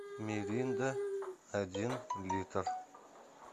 миринда один литр